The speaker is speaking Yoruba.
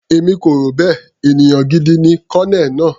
Èmi kò rò bẹ́ẹ̀, ènìyàn gidi ni Colonel náà.